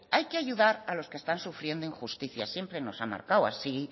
hay que ayudar a los que están sufriendo injusticias siempre nos han marcado así